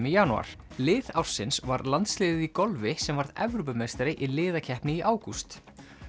í janúar lið ársins var landsliðið í golfi sem varð Evrópumeistari í liðakeppni í ágúst